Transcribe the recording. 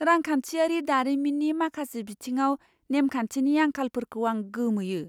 रांखान्थियारि दारिमिननि माखासे बिथिङाव नेमखान्थिनि आंखालाफोरखौ आं गोमोयो।